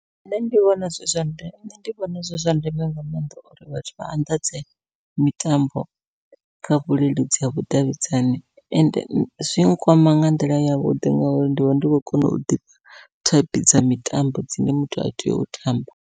Nṋe ndi vhona zwi zwa ndeme nṋe ndi vhona zwi zwa ndeme nga maanḓa, uri vhathu vha anḓadze mitambo kha vhuleludzi ha vhudavhidzani. Ende zwi nkwama nga nḓila yavhuḓi ngauri ndivha ndi khou kona u ḓivha thaiphi dza mitambo dzine muthu a tea u tamba.